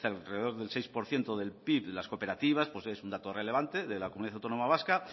alrededor del seis por ciento del pib las cooperativas es un dato relevante de la comunidad autónoma vasca